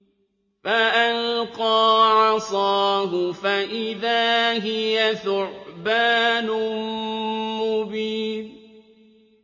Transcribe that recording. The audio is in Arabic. فَأَلْقَىٰ عَصَاهُ فَإِذَا هِيَ ثُعْبَانٌ مُّبِينٌ